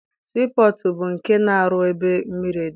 Sii pọtụ bụ nke a na-arụ ebe mmiri dị.